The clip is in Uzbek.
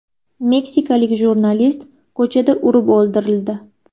Meksikalik jurnalist ko‘chada urib o‘ldirildi.